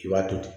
I b'a to ten